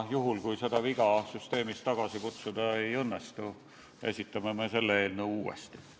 Juhul, kui seda viga süsteemist tagasi kutsuda ei õnnestu, esitame selle eelnõu uuesti.